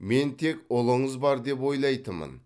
мен тек ұлыңыз бар деп ойлайтынмын